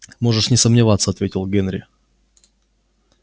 можешь не сомневаться ответил генри